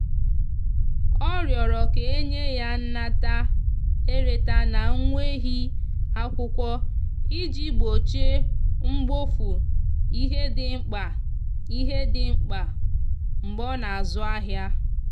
ọ riorọ ka enye ya nnata/ereta na nweghi akwụkwo iji gbochie mgbofu ihe ndi mkpa ihe ndi mkpa mgbe ọ na azụ ahia